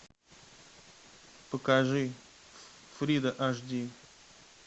покажи фрида аш ди